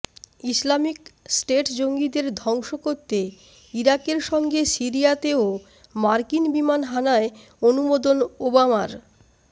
Islamic State জঙ্গিদের ধ্বংস করতে ইরাকের সঙ্গে সিরিয়াতেও মার্কিন বিমান হানায় অনুমোদন ওবামার